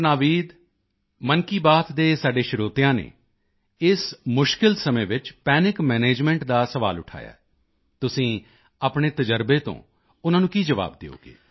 ਨਾਵੀਦ ਮਨ ਕੀ ਬਾਤ ਦੇ ਸਾਡੇ ਸਰੋਤਿਆਂ ਨੇ ਇਸ ਮੁਸ਼ਕਿਲ ਸਮੇਂ ਵਿੱਚ ਪੈਨਿਕ ਮੈਨੇਜਮੈਂਟ ਦਾ ਸਵਾਲ ਉਠਾਇਆ ਹੈ ਤੁਸੀਂ ਆਪਣੇ ਤਜ਼ਰਬੇ ਤੋਂ ਉਨ੍ਹਾਂ ਨੂੰ ਕੀ ਜਵਾਬ ਦਿਓਗੇ